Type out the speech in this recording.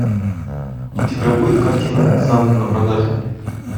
у тебя будет картина санта на продажу